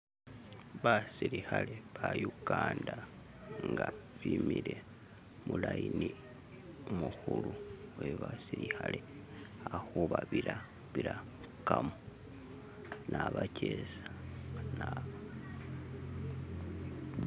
Basilikhale ba uganda nga bimile mulayini umukhulu webasilikhale ali khubabirabirakamo nabakesa